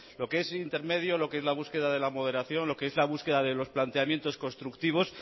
lo que es intermedio lo que es la búsqueda de la moderación lo que es la búsqueda de los planteamientos constructivos